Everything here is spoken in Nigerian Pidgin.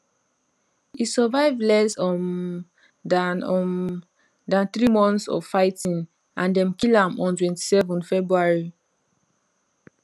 e survive less um dan um dan three months of fighting and dem kill am on 27 february